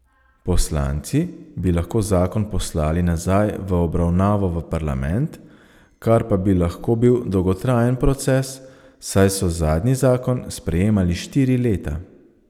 Poslanci bi lahko zakon poslali nazaj v obravnavo v parlament, kar pa bi lahko bil dolgotrajen proces, saj so zadnji zakon sprejemali štiri leta.